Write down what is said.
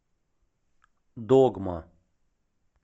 догма